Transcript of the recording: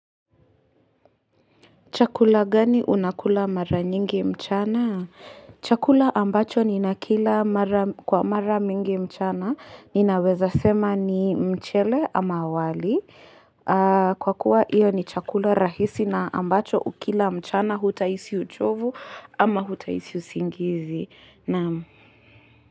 Chakula gani unakula mara nyingi mchana? Chakula ambacho ninakila kwa mara mingi mchana. Ninaweza sema ni mchele ama wali. Kwa kuwa hiyo ni chakula rahisi na ambacho ukila mchana hutahisi uchovu ama hutahisi usingizi. Naam.